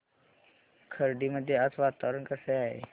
खर्डी मध्ये आज वातावरण कसे आहे